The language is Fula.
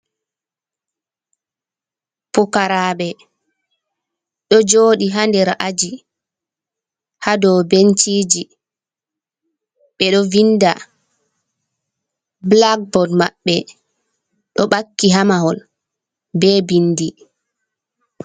"Pukaraɓe" Ɗo joɗi ha nder a’aji ha ɗow benciji ɓe ɗo vinda ɓulak boad maɓɓe ɗo ɓakki ha mahol be vindi.